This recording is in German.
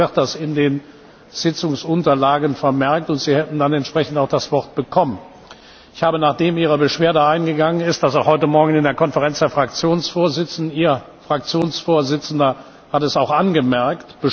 Normalerweise wird das in den Sitzungsunterlagen vermerkt, und Sie hätten dann entsprechend auch das Wort bekommen. Nachdem Ihre Beschwerde eingegangen ist, habe ich das heute Morgen auch in der Konferenz der Fraktionsvorsitze besprochen und Ihr Fraktionsvorsitzender hat es auch angemerkt.